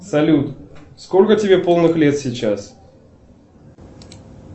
салют сколько тебе полных лет сейчас